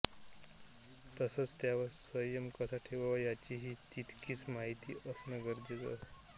तसचं त्यावर संयम कसा ठेवावा याचीही तितकीच माहिती असण गरजेच आहे